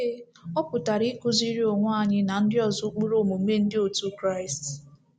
Ee, ọ pụtara ikuziri onwe anyị na ndị ọzọ ụkpụrụ omume Ndị otu Kraịst.